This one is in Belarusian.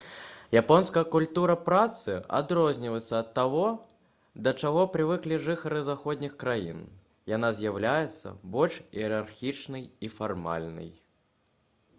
японская культура працы адрозніваецца ад таго да чаго прывыклі жыхары заходніх краін яна з'яўляецца больш іерархічнай і фармальнай